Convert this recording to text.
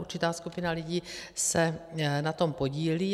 Určitá skupina lidí se na tom podílí.